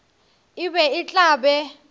e be e tla be